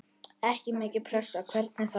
Ekki mikil pressa, hvernig þá?